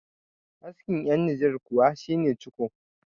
askin yan niger kuwa shi ne ciko